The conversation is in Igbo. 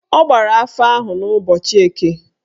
Ọ gbara afa ahụ n'ụbọchị Eke